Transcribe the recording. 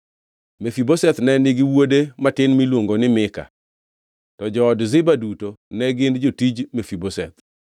Mefibosheth ne nigi wuode matin miluongo ni Mika, to jood Ziba duto ne gin jotij Mefibosheth.